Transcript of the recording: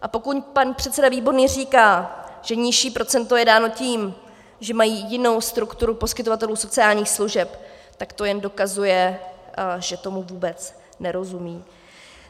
A pokud pan předseda Výborný říká, že nižší procento je dáno tím, že mají jinou strukturu poskytovatelů sociálních služeb, tak to jen dokazuje, že tomu vůbec nerozumí.